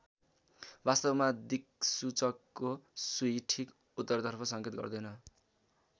वास्तवमा दिक्सूचकको सुई ठिक उत्तरतर्फ संकेत गर्दैन।